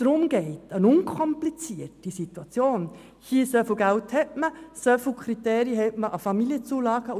Man will eine unkomplizierte Situation, wobei ein konkreter Geldbetrag vorhanden ist und die Kriterien an Familienzulagen gelten.